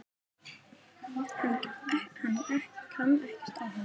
Kann ekkert á hann.